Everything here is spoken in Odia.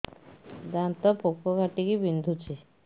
ଦାନ୍ତ ପୋକ କାଟିକି ବିନ୍ଧୁଛି